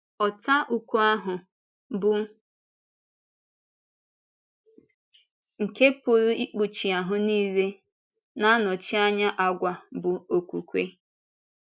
Ọ̀tá ukwu ahụ, bụ́ nke pụrụ ikpuchi ahụ niile, na-anọchi anya àgwà bụ́ okwúkwè.